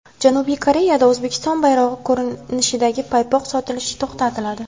Janubiy Koreyada O‘zbekiston bayrog‘i ko‘rinishidagi paypoq sotilishi to‘xtatiladi .